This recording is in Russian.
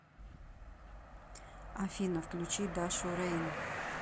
афина включи дашу рейн